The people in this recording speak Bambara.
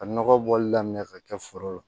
Ka nɔgɔ bɔli daminɛ ka kɛ foro la